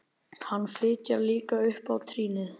Hann fitjar líka upp á trýnið.